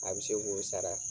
A bɛ se k'o sara